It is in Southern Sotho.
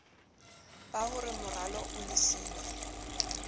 ba hore moralo o lebisa